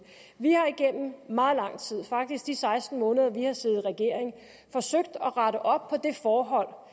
vi har igennem meget lang tid faktisk de seksten måneder vi har siddet i regering forsøgt at rette op på det forhold